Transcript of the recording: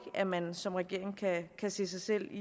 at man som regering kan se sig selv